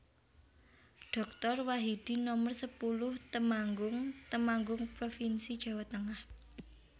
Doktor Wahidin Nomer sepuluh Temanggung Temanggung provinsi Jawa Tengah